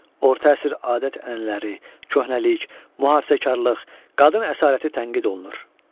Orta əsr adət-ənənələri, köhnəlik, mühafizəkarlıq, qadın əsarəti tənqid olunur.